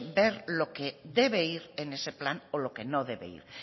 ver lo que debe ir en ese plan y lo que no debe ir